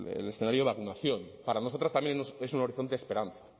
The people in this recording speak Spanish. el escenario de vacunación para nosotras también es un horizonte de esperanza